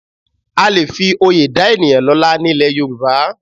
À lè fi oyè dá ènìyàn lọ́lá ní ilẹ̀ Yorùbá